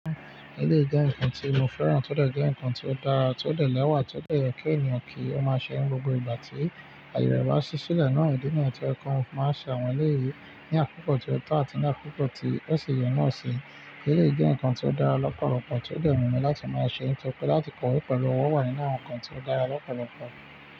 Eleyi jẹ́ nǹkan tí mo fẹ́ràn tó dẹ̀ jẹ́ nǹkan tí ó dára, tó dẹ̀ lẹ́wà, tó dẹ̀ yọ̀ kí ènìyàn kí ó máa ṣẹ́ wọn. Gbogbo ìgbà tí aye rẹ̀ bá ṣí sílẹ̀ náà, ìdi niyen to yẹ kan máa ṣàwọn eléyìí ní àkókò tí o tọ àti ní àkókò tí osì yẹ̀ naa si. Eleyi jẹ́ nǹkan tí ó dára lọ́pọ̀lọpọ̀ tí ó dẹ̀ wu mi láti máa ṣẹ́ ẹ́, n tóri pé láti kọ̀wé pẹ̀lú ọwọ́ wà yen naa nǹkan tí ó dára lọ́pọ̀lọpọ̀.